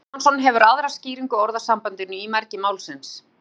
jón friðjónsson hefur aðra skýringu á orðasambandinu í mergi málsins